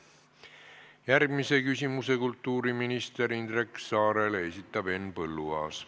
Järgmise küsimuse kultuuriminister Indrek Saarele esitab Henn Põlluaas.